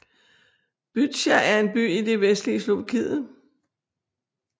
Bytča er en by i det vestlige Slovakiet